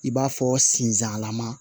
I b'a fɔ sinzalama